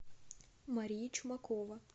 мария чумакова